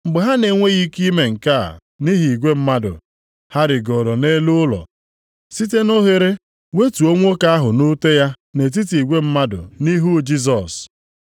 Mgbe ha na-enweghị ike ime nke a nʼihi igwe mmadụ, ha rigooro nʼelu ụlọ, site nʼoghere wetuo nwoke ahụ nʼute ya nʼetiti igwe mmadụ nʼihu Jisọs.